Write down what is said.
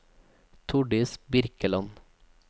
Tordis Birkeland